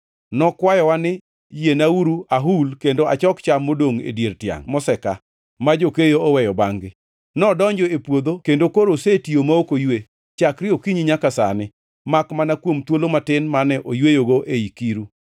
Nokwayowa ni, ‘Yienauru ahul kendo achok cham modongʼ e dier tiangʼ moseka ma jokeyo oweyo bangʼ-gi.’ Nodonjo e puodho kendo koro osetiyo ma ok oywe, chakre okinyi nyaka sani, makmana kuom thuolo matin mane oyweyogo ei kiru.”